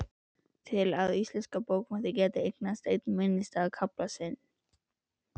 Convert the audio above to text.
Til að íslenskar bókmenntir geti eignast einn minnisstæðasta kafla sinn.